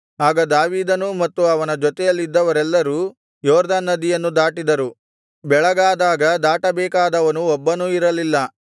ಆಗ ದಾವೀದನೂ ಮತ್ತು ಅವನ ಜೊತೆಯಲ್ಲಿದ್ದವರೆಲ್ಲರೂ ಯೊರ್ದನ್ ನದಿಯನ್ನು ದಾಟಿದರು ಬೆಳಗಾದಾಗ ದಾಟಬೇಕಾದವನು ಒಬ್ಬನೂ ಇರಲಿಲ್ಲ